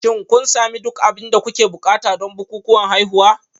Shin kun sami duk abin da kuke buƙata don bukukuwan haihuwa?